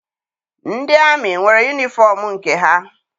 Ndị amị nwere yunifọm nke ha.